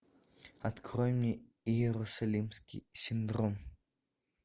открой мне иерусалимский синдром